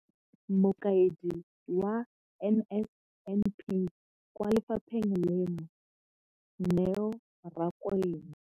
Mokaedi wa NSNP kwa lefapheng leno, Neo Rakwena.